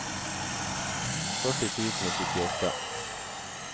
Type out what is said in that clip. førti tusen og syttiåtte